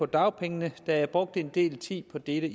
dagpengesystemet der er brugt en del tid på dette